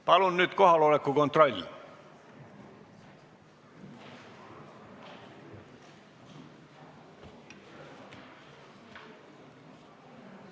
Palun nüüd kohaloleku kontroll!